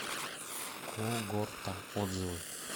когорта отзывы